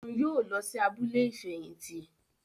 Òún yóò lọ sí abúlé ifẹhinti